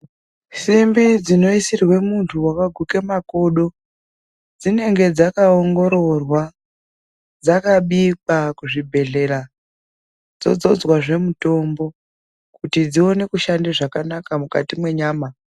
Simbi dzinoisirwe muntu wakaguke makodo dzinenge dzakaongororwa dzakabikwa kuzvibhedhlera dzodzozwazve mutombo kuti dzione kushanda zvakanaka mukati mwenyama.